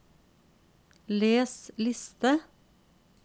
les liste